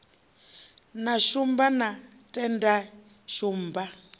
na shumba na tendai shumba